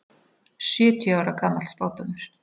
Sjötíu ára gamall spádómur